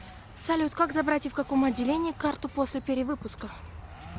салют как забрать и в каком отделении карту после перевыпуска